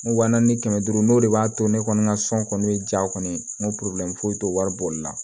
Wa naani ni kɛmɛ duuru n'o de b'a to ne kɔni ka sɔn kɔni be jaa kɔni n ko foyi t'o wari bɔli la